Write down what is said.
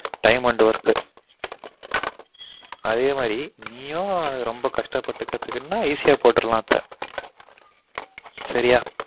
Time and work அதிகமாகி நீயும் ரொம்ப கஷ்டப்பட்டு கத்துகுனா easy யா போட்டுறலான் இப்ப